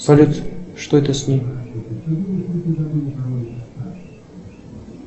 салют что это с ним